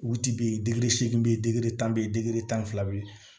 Wuti bɛ yen degeri seegin tan bɛ yen tan ni fila bɛ yen